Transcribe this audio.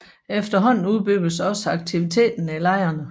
Efterhånden udbyggedes også aktiviteterne i lejrene